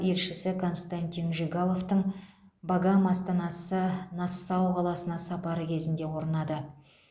елшісі константин жигаловтың багам астанасы нассау қаласына сапары кезінде орнады